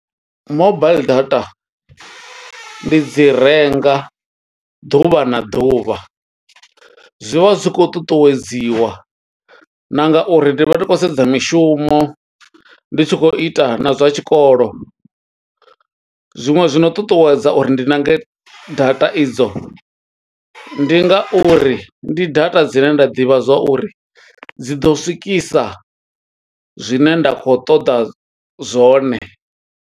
Mobaiḽi data, ndi dzi renga ḓuvha na ḓuvha. Zwi vha zwi khou ṱuṱuwedziwa na nga uri ndi vha ndi khou sedza mishumo, ndi tshi khou ita na zwa tshikolo. Zwiṅwe zwi no ṱuṱuwedza uri ndi ṋange data i dzo, ndi nga uri ndi data dzine nda ḓivha zwa uri, dzi ḓo swikisa zwine nda khou ṱoḓa zwone.